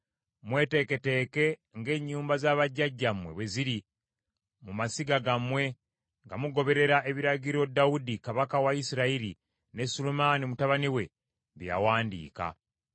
mweteeketeeke ng’ennyumba za bajjajjammwe bwe ziri mu masiga gammwe, nga mugoberera ebiragiro Dawudi kabaka wa Isirayiri ne Sulemaani mutabani we bye yawandiika.